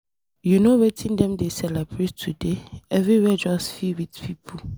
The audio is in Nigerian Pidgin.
You no wetin dem dey celebrate today? Everywhere just fill with people.